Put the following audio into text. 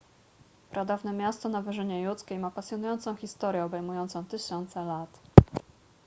pradawne miasto na wyżynie judzkiej ma pasjonującą historię obejmującą tysiące lat